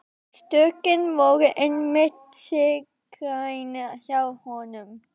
Stökkin voru einmitt sérgrein hjá honum.